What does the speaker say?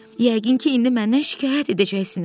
Yəqin ki, indi məndən şikayət edəcəksiniz.